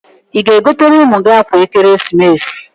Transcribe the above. Ị ga-egotere ụmụ gị akwa ekeresimesi?